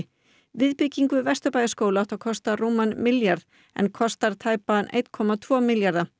viðbygging við Vesturbæjarskóla átti að kosta rúman milljarð en kostar tæpa einn komma tvo milljarða